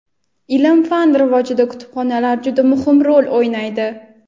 Ilm-fan rivojida kutubxonalar juda muhim rol o‘ynaydi.